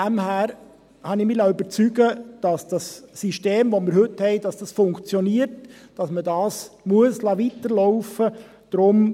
Daher habe ich mich überzeugen lassen, dass das System, das wir heute haben, funktioniert, dass man dies weiterlaufen lassen muss.